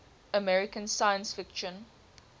american science fiction